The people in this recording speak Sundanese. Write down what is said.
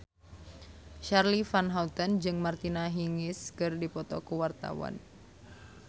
Charly Van Houten jeung Martina Hingis keur dipoto ku wartawan